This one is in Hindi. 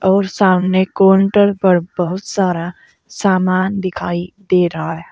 और सामने काउंटर पर बहुत सारा सामान दिखाई दे रहा है।